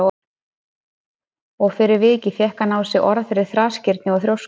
Og fyrir vikið fékk hann á sig orð fyrir þrasgirni og þrjósku.